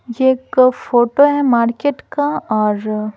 ये एक फोटो है मार्केट का और--